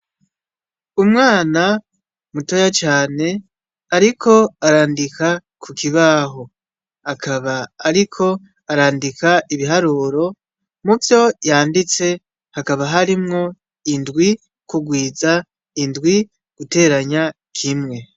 Umwana mutoya cane ariko arandika ku kibaho, akaba ariko arandika ibiharuro, muvyo yanditse hakaba harimwo indwi kugwiza indwi, guteranya kimwe.